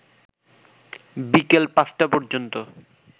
বিকেল ৫টা পর্যন্ত